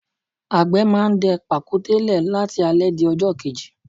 Agbe máa ń dẹ pàkúté le láti alẹ di ọjọ́ kejì.